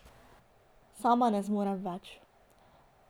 Sama ne zmorem več.